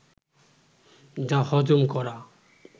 যা হজম করা